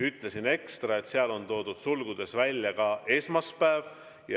Ütlesin ekstra, et seal on toodud sulgudes välja ka esmaspäev.